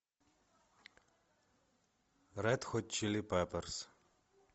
ред хот чили пеперс